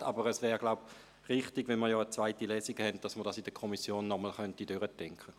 Weil aber eine zweite Lesung stattfindet, wäre es, so glaube ich, richtig, dies in der Kommission nochmals durchzudenken.